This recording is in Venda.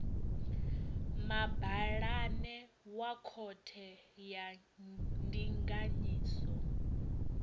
mabalane wa khothe ya ndinganyiso